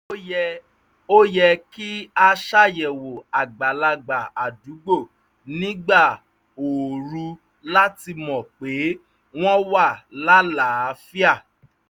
ó yẹ kí a ṣàyẹ̀wò àgbàlagbà àdúgbò nígbà ooru láti mọ pé wọ́n wà láàlàáfíà